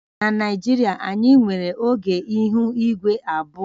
Na Naijiria, anyị nwere oge ihu igwe abụọ